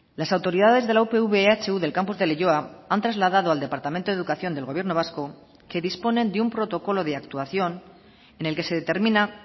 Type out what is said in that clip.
las autoridades de la upv ehu del campus de leioa han trasladado al departamento de educación del gobierno vasco que disponen de un protocolo de actuación en el que se determina